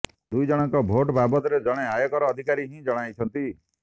ଦୁଇ ଜଣଙ୍କ ଭେଟ ବାବଦରେ ଜଣେ ଆୟକର ଅଧିକାରୀ ହିଁ ଜଣାଇଛନ୍ତି